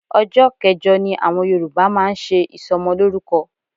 Ọjọ́ kẹjọ ni àwọn Yorùbá máa ń ṣe ìsọmọlórúkọ